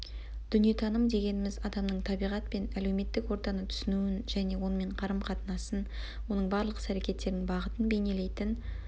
дүниетаным дегеніміз адамның табиғат пен әлеуметтік ортаны түсінуін және онымен қарым қатынасын оның барлық іс әрекеттерінің бағытын бейнелейтін